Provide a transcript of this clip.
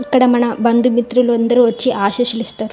ఇక్కడ మన బంధుమిత్రులు అందరూ వచ్చి ఆశీస్సులు ఇస్తారు.